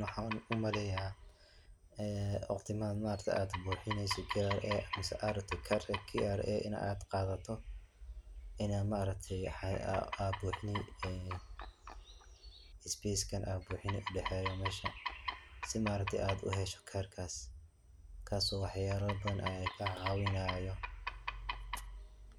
Waxan umaleyaa ee waqtimahan ma aragte ad buxineyso KRA mise aa rabto karka KRA inad qadato inad ma aragte isbeskan ad buxini udhaxeeyo meshan si ma aragte ad uhesho karkaas, kaaso wax yaba badan kaa caawinayo